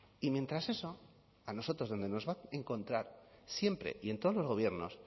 y mientras eso a nosotros donde nos va a encontrar siempre y en todos los gobiernos